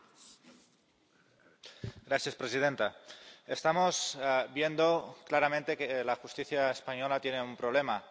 Señora presidenta, estamos viendo claramente que la justicia española tiene un problema.